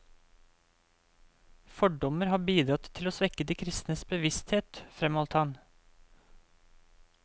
Fordommer har bidratt til å svekke de kristnes bevissthet, fremholdt han.